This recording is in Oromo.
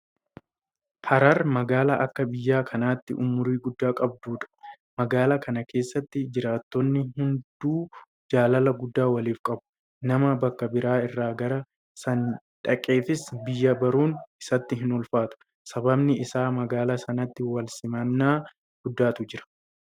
Harar magaalaa akka biyya kanaatti umurii guddaa qabdudha. Magaalaa kana keessatti jiraattonni hunduu jaalala guddaa waliif qabu. Nama bakka biraa irraa gara isaanii dhaqeefis biyya baruun isatti hinulfaatu. Sababni isaas magaalaa sanatti walsimannaa guddaatu jira.